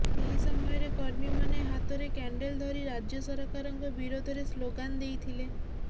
ଏହି ସମୟରେ କର୍ମୀମାନେ ହାତରେ କ୍ୟାଣ୍ଡେଲ ଧରି ରାଜ୍ୟ ସରକାରଙ୍କ ବିରୋଧରେ ସ୍ଲୋଗାନ ଦେଇଥିଲେ